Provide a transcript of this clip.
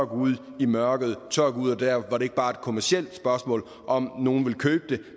gå ud i mørket tør gå ud der hvor det ikke bare er et kommercielt spørgsmål om om nogen vil købe det